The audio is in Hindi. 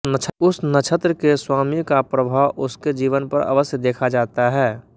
उस नक्षत्र के स्वामी का प्रभाव उसके जीवन पर अवश्य देखा जाता है